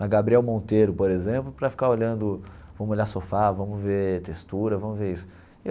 na Gabriel Monteiro, por exemplo, para ficar olhando, vamos olhar sofá, vamos ver textura, vamos ver isso.